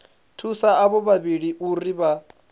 thusa avho vhavhili uri vha